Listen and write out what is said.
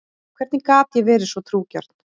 Hvernig gat ég verið svo trúgjörn?